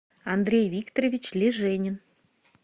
андрей викторович леженин